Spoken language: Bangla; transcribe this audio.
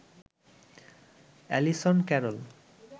Allison Carroll